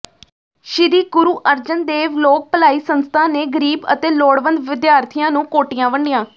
ਸ੍ਰੀ ਗੁਰੂ ਅਰਜਨ ਦੇਵ ਲੋਕ ਭਲਾਈ ਸੰਸਥਾ ਨੇ ਗ਼ਰੀਬ ਅਤੇ ਲੋੜਵੰਦ ਵਿਦਿਆਰਥੀਆਂ ਨੂੰ ਕੋਟੀਆਂ ਵੰਡੀਆਂ